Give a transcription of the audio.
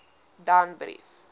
danbrief